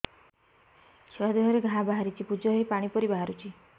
ଛୁଆ ଦେହରେ ଘା ବାହାରିଛି ପୁଜ ହେଇ ପାଣି ପରି ବାହାରୁଚି